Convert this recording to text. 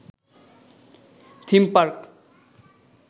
theme park